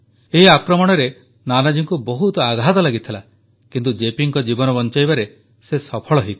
ଏହି ଆକ୍ରମଣରେ ନାନାଜୀଙ୍କୁ ବହୁତ ଆଘାତ ଲାଗିଥିଲା କିନ୍ତୁ ଜେପିଙ୍କ ଜୀବନ ବଞ୍ଚାଇବାରେ ସେ ସଫଳ ହୋଇଥିଲେ